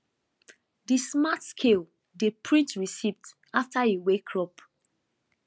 the smart scale dey print receipt after e weigh crop